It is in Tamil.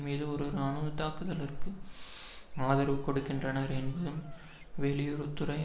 மீது ஒரு இராணுவ தாக்குதலுக்கு ஆதரவு கொடுக்கின்றனர் என்பதும் வெளியுறவு துறை